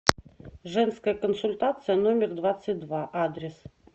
женская консультация номер двадцать два адрес